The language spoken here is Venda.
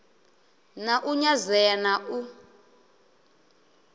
na u nyadzea na u